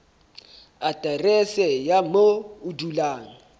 aterese ya moo o dulang